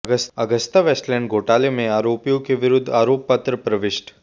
Agusta Westland घोटाले में आरोपीयों के विरूद्ध आरोपपत्र प्रविष्ट